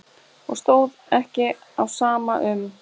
Og stóð ekki á sama um.